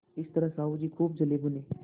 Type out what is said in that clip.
इस तरह साहु जी खूब जलेभुने